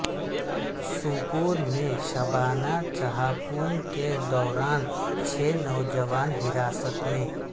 سوپور میں شبانہ چھا پوں کے دوران چھ نوجوان حراست میں